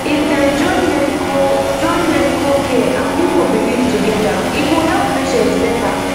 if dem fit join medical join medical care and people belief together e go help patients better